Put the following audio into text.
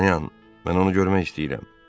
Dartanyan, mən onu görmək istəyirəm.